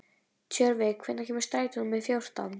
Tjörvi, hvenær kemur strætó númer fjórtán?